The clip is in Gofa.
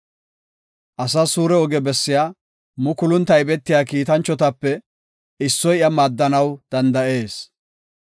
“Asas suure ogiya bessiya mukulun taybetiya kiitanchotape issoy iya maaddanaw danda7ees.